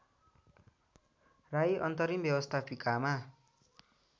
राई अन्तरिम व्यवस्थापिकामा